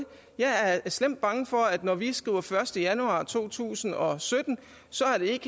jeg er slemt bange for at når vi skriver første januar i to tusind og sytten så er det